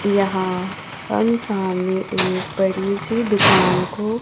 यहां हम सामने एक बड़ी सी दुकान को--